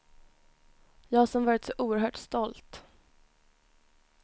Jag som varit så oerhört stolt.